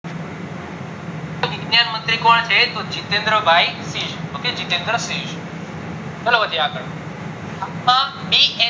મુખ્ય મંત્રી કોણ છે તો જીતેન્દ્ર ભાય પી okay જીતેન્દ્ર પી ચલો વધીએ આગળ